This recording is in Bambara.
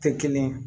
Tɛ kelen ye